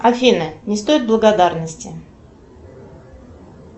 афина не стоит благодарности